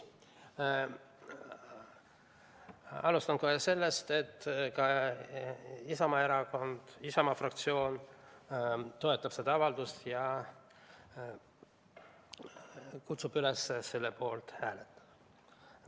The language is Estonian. Alustan kohe sellest, et ka Isamaa fraktsioon toetab seda avaldust ja kutsub üles selle poolt hääletama.